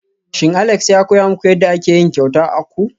Shin Alex ya koya muku yadda ake yin kyauta akwu?